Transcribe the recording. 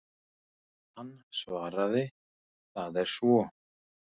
Hann svaraði, það er svo.